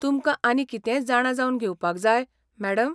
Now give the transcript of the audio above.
तुमकां आनी कितेंय जाणा जावन घेवपाक जाय, मॅडम?